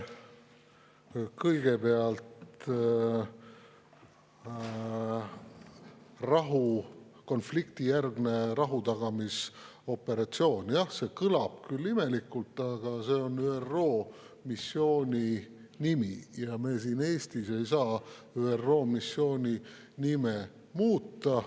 Kõigepealt, konfliktijärgne rahutagamisoperatsioon – jah, see kõlab küll imelikult, aga see on ÜRO missiooni nimi ja me siin Eestis ei saa ÜRO missiooni nime muuta.